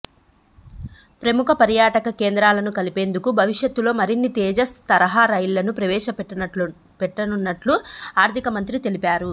ప్రముఖ పర్యాటక కేంద్రాలను కలిపేందుకు భవిష్యత్తులో మరిన్ని తేజస్ తరహా రైళ్లను ప్రవేశపెట్టనున్నట్లు ఆర్థిక మంత్రి తెలిపారు